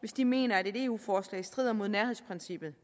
hvis de mener at et eu forslag strider mod nærhedsprincippet